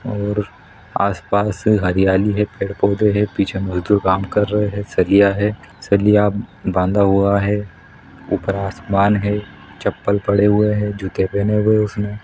और आसपास हरियाली है पेड़ -पौधे है पीछे मजदूर काम कर रहे सरिया है सरिया बांधा हुआ है ऊपर आसमान है चप्पल पड़े हुए है जूते पहने हुए है उसने --